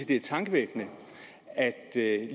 det er tankevækkende at